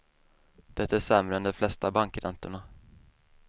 Det är sämre än de flesta bankräntorna.